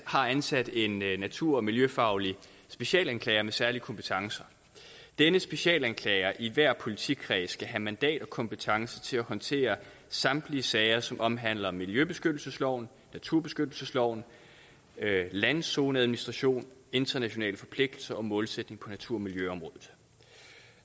har ansat en natur og miljøfaglig specialanklager med særlige kompetencer denne specialanklager i hver politikreds skal have mandat og kompetence til at håndtere samtlige sager som omhandler miljøbeskyttelsesloven naturbeskyttelsesloven landzoneadministration internationale forpligtelser og målsætninger på natur og miljøområdet